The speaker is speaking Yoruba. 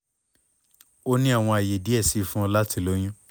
o ni awọn aye diẹ sii fun ọ lati loyun